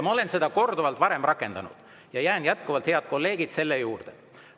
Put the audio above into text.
Ma olen seda korduvalt varem rakendanud ja jään jätkuvalt, head kolleegid, selle juurde.